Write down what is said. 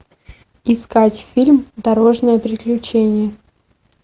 искать фильм дорожное приключение